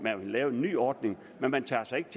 lave en ny ordning men man tager sig ikke